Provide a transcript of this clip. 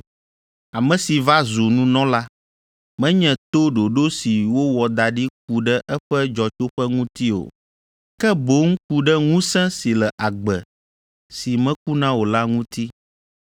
ame si va zu nunɔla, menye to ɖoɖo si wowɔ da ɖi ku ɖe eƒe dzɔtsoƒe ŋuti o, ke boŋ ku ɖe ŋusẽ si le agbe si mekuna o la ŋuti.